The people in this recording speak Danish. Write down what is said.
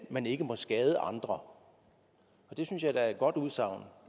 man ikke må skade andre det synes jeg da er et godt udsagn